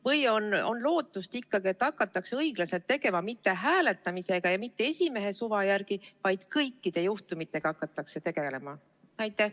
Või on ikkagi lootust, et hakatakse õiglaselt tegutsema, mitte hääletamisega ja mitte esimehe suva järgi, vaid hakatakse kõikide juhtumitega tegelema?